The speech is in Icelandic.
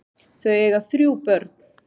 Þau eiga þrjú börn.